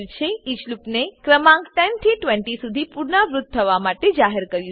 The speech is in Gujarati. ઈચ લૂપને ક્રમાંક 10 થી 20 સુધી પુનરાવૃત્ત થવા માટે જાહેર કર્યું છે